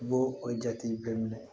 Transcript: I b'o o jate bɛɛ minɛ